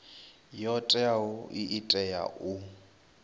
yo teaho i tea u